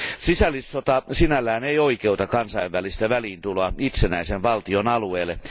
Sisällissota sinällään ei oikeuta kansainvälistä väliintuloa itsenäisen valtion alueelle.